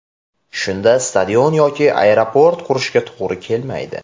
Shunda stadion yoki aeroport qurishga to‘g‘ri kelmaydi.